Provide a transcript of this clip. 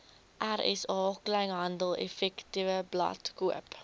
rsa kleinhandeleffektewebblad koop